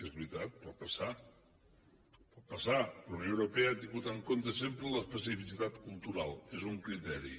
és veritat pot passar pot passar la unió europea ha tingut en compte sempre l’especificitat cultural és un criteri